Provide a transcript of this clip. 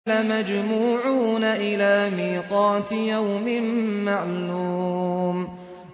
لَمَجْمُوعُونَ إِلَىٰ مِيقَاتِ يَوْمٍ مَّعْلُومٍ